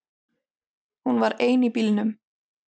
Hún var ein í bílnum.